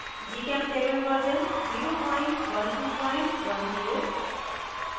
gchemtable version 01210